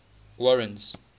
warren's